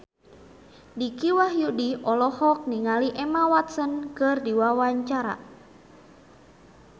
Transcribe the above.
Dicky Wahyudi olohok ningali Emma Watson keur diwawancara